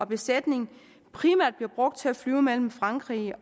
besætning primært blive brugt til at flyve mellem frankrig